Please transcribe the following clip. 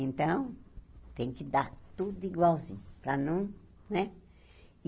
Então, tem que dar tudo igualzinho, para não, né?